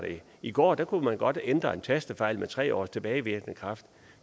i går kunne man godt ændre en tastefejl med tre års tilbagevirkende kraft